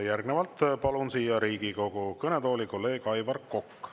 Järgnevalt palun siia Riigikogu kõnetooli kolleeg Aivar Koka.